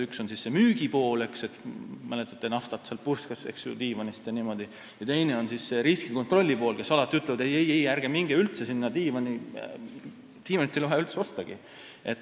Üks on müügi pool – mäletate, naftat purskas diivanist jne – ja teine on see riskikontrolli pool, kes alati ütlevad, et ei-ei, ärge minge üldse sinna diivanipoodi, diivanit ei ole vaja üldse ostagi.